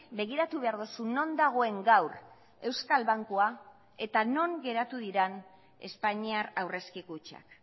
begiratu behar duzu non dagoen gaur euskal bankua eta non geratu diren espainiar aurrezki kutxak